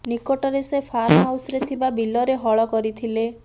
ନିକଟରେ ସେ ଫାର୍ମ ହାଉସରେ ଥିବା ବିଲରେ ହଳ କରିଥିଲେ